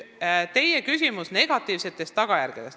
Teie küsimus oli negatiivsetest tagajärgedest.